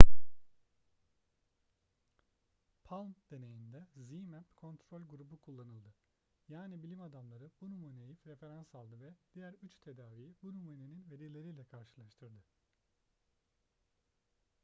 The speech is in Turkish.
palm deneyinde zmapp kontrol grubunda kullanıldı yani bilim adamları bu numuneyi referans aldı ve diğer üç tedaviyi bu numunenin verileriyle karşılaştırdı